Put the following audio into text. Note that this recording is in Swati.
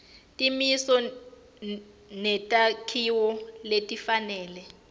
timiso netakhiwo letifanele